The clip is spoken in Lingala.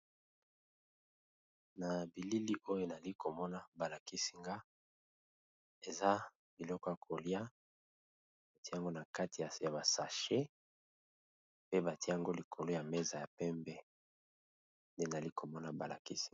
Na bilili oyo nali komona balakisinga eza liloko ya kolia ntiango na kati ya basache pe batiango likolo ya meza ya pembe e nali komona balakisinga.